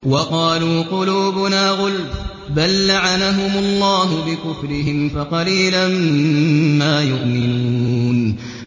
وَقَالُوا قُلُوبُنَا غُلْفٌ ۚ بَل لَّعَنَهُمُ اللَّهُ بِكُفْرِهِمْ فَقَلِيلًا مَّا يُؤْمِنُونَ